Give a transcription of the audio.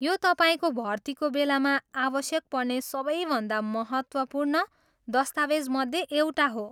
यो तपाईँको भर्तीको बेलामा आवश्यक पर्ने सबैभन्दा महत्त्वपूर्ण दस्तावेजमध्ये एउटा हो।